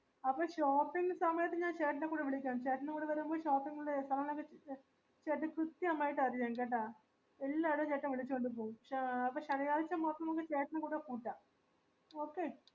അപ്പൊ shopping സമയത്ത് ഞാൻ ചേട്ടനെ കൂടെ വിളികാം ചേട്ടനും കൂടെ വരുമ്പോ shopping ചേട്ടന് കൃത്യമായിട്ട് അറിയാം കെട്ടാ എല്ലടേം ചേട്ടൻ വിളിച്ചോണ്ട് പോവും ഏർ അപ്പൊ ശനിയാഴ്ച മൊത്തം നമക് ചേട്ടനേം കൂടെ കൂട്ടാം okay